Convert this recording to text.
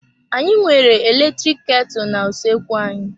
Anyị nwere eletrik ketu na-usoekwu anyị.